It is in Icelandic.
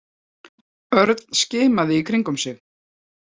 Örn skimaði í kringum sig.